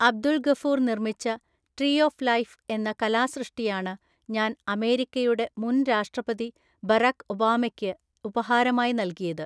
അബ്ദുൾ ഗഫൂർ നിർമ്മിച്ച tree of life എന്ന കലാസൃഷ്ടിയാണ് ഞാൻ അമേരിക്കയുടെ മുൻ രാഷ്ട്രപതി ബരാക് ഒബാമയ്ക്ക് ഉപഹാരമായി നല്കിയത്.